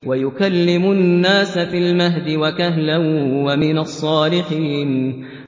وَيُكَلِّمُ النَّاسَ فِي الْمَهْدِ وَكَهْلًا وَمِنَ الصَّالِحِينَ